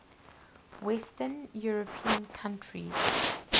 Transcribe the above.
western european countries